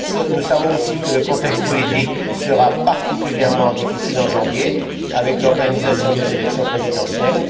Nous savons aussi que le contexte politique sera particulièrement difficile en janvier, avec l'organisation des élections présidentielles.